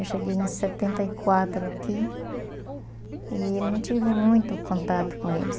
Eu cheguei em setenta e quatro aqui e não tive muito contato com eles.